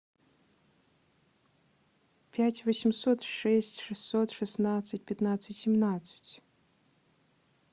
пять восемьсот шесть шестьсот шестнадцать пятнадцать семнадцать